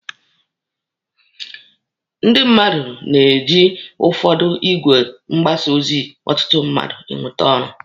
Ndị mmadụ na-eji ụfọdụ igwe mgbasa ozi ọtụtụ mmadụ e nweta ọrụ